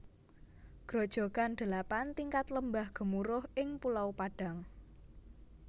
Grojogan Delapan Tingkat Lembah Gemuruh ing Pulau Padang